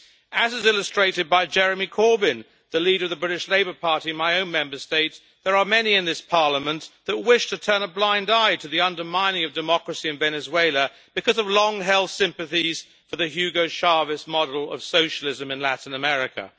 As is illustrated by Jeremy Corbyn, the leader of the British Labour Party in my own Member State, there are many in this Parliament that wish to turn a blind eye to the undermining of democracy in Venezuela because of long-held sympathies for the Hugo Chavez model of socialism in Latin America.